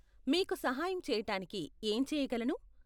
మీకు సహాయం చేయటానికి ఏం చేయగలను?